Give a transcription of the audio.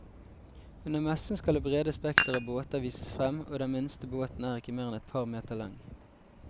Under messen skal det brede spekter av båter vises frem, og den minste båten er ikke mer enn et par meter lang.